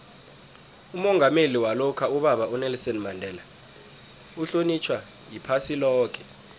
umongameli walokha ubaba unelson mandela uhlonitjhwa iphasi loke